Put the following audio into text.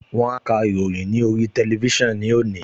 Wọ́n á ka ìròyìn ní orí tẹlifísàn ní òní